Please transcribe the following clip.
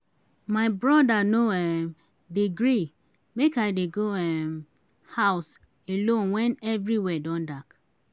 my broda no um dey gree make i dey go um house alone wen everywhere don dark.